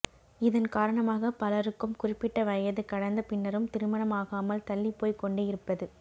இதன் காரணமாக பலருக்கும் குறிப்பிட்ட வயது கடந்த பின்னரும் திருமணம் ஆகாமல் தள்ளிப் போய்க் கொண்டே இருப்பது